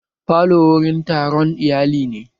Falo wurin taron iyali ne